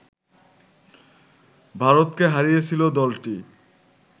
ভারতকে হারিয়েছিল দলটি